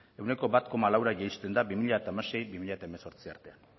ehuneko bat koma laura jaisten da bi mila hamasei bi mila hemezortzi artean